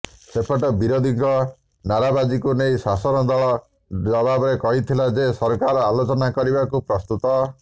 ସେପଟେ ବିରୋଧୀଙ୍କ ନାରାବାଜିକୁ ନେଇ ଶାସକ ଦଳ ଜବାବରେ କହିଥିଲା ଯେ ସରକାର ଆଲୋଚନା କରିବାକୁ ପ୍ରସ୍ତୁତ